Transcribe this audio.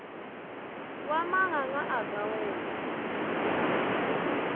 wa manganga a ka wela